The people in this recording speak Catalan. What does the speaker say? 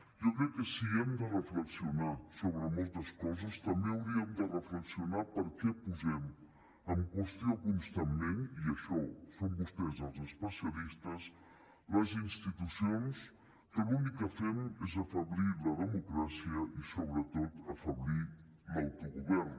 jo crec que si hem de reflexionar sobre moltes coses també hauríem de reflexionar per què posem en qüestió constantment i en això són vostès els especialistes les institucions que l’únic que fem és afeblir la democràcia i sobretot afeblir l’autogovern